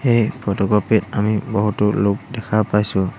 এই ফটোকপি ত আমি বহুতো লোক দেখা পাইছোঁ।